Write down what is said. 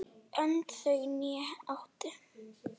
Önd þau né áttu